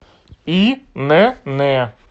инн